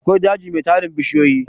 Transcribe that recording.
akwai daji Mai tarin bishiyoyi